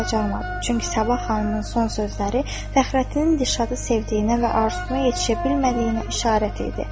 Çünki Sabah xanımın son sözləri Fəxrəddinin Dilşadı sevdiyinə və arzusuna yetə bilmədiyinə işarət idi.